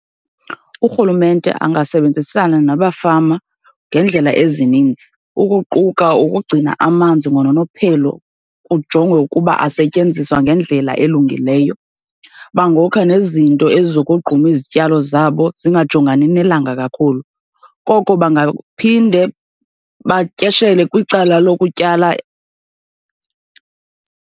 Urhulumente angasebenzisana nabafama ngeendlela ezininzi, ukuquka ukugcina amanzi ngononophelo, kujongwe ukuba asetyenziswa ngendlela elungileyo. Bangokha nezinto ezizokogquma izityalo zabo zingajongani nelanga kakhulu. Koko bangaphinde batyeshele kwicala lokutyala.